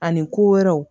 Ani ko wɛrɛw